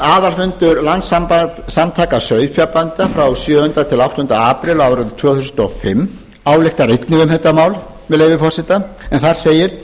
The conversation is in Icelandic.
aðalfundur landssamtaka sauðfjárbænda sjöunda til áttunda apríl árið tvö þúsund og fimm ályktar einnig um þetta mál með leyfi forseta en þar segir